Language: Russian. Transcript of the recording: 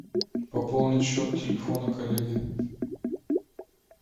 пополнить счет телефона коллеги